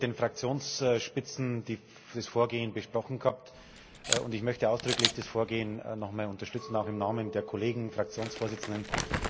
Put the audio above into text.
Sie haben mit den Fraktionsspitzen das Vorgehen besprochen gehabt, und ich möchte ausdrücklich das Vorgehen noch einmal unterstützen, auch im Namen der Kollegen Fraktionsvorsitzenden.